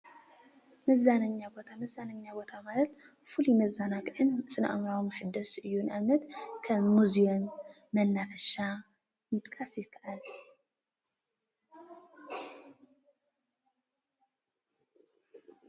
መዛነኛ ቦታ፡- መዛናኛ ቦታ ማለት ፍሉይ መዛናጊዒን ስነ ኣእሞራዊ መሐደስ እዩ፡፡ ከም ሙዝየም መናፈሻ ምጥቃስ ይካኣል፡፡